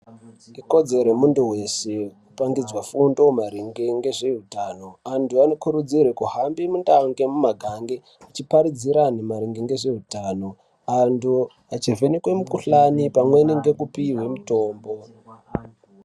Ikodzero yemuntu weshe kutangidzwa fundo maringe ngezveutano. Antu anokurudzirwe kuhambe muntaa nemumagange, achiparidzira antu maringe ngezveutano. Antu achivhenekee mukhuhlani pamweni nekupihwe mitombo.